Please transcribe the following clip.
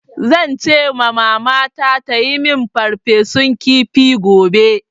Zan ce ma Mamana ta yi min farfesun kifi gobe.